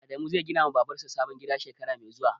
Adamu zai ginawa Babar sa sabon gida shekara mai zuwa.